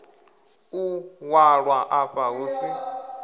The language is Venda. u ṅwalwa afha hu si